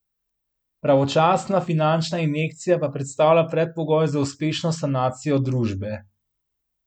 Pravočasna finančna injekcija pa predstavlja predpogoj za uspešno sanacijo družbe.